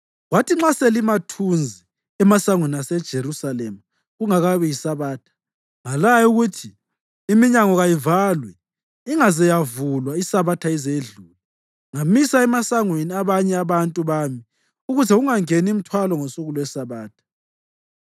Kwathi nxa selimathunzi emasangweni aseJerusalema kungakabi yiSabatha, ngalaya ukuthi iminyango kayivalwe ingaze yavulwa iSabatha ize idlule. Ngamisa emasangweni abanye abantu bami ukuze kungangeni mthwalo ngosuku lweSabatha.